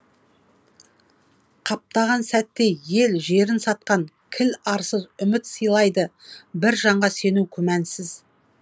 қаптаған сәтте ел жерін сатқан кіл арсыз үміт сыйлайды бір жанға сену күмәнсіз